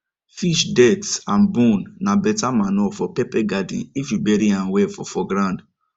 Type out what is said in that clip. fish dirt and bone na better manure for pepper garden if you bury am well for for ground